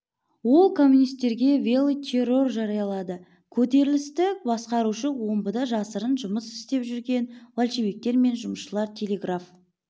ол коммунистерге белый террор жариялады көтерілісті басқарушы омбыда жасырын жұмыс істеп жүрген большевиктер мен жұмысшылар телеграф